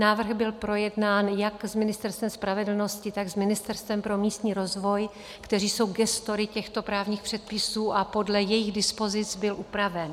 Návrh byl projednán jak s Ministerstvem spravedlnosti, tak s Ministerstvem pro místní rozvoj, která jsou gestory těchto právních předpisů, a podle jejich dispozic byl upraven.